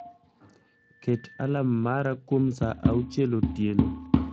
Ket alarm mara kuom saa auchiel otieno